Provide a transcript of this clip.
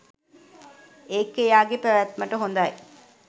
ඒක එයාගේ පැවැත්මට හොඳයි.